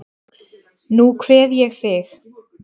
Nú kveð ég þig.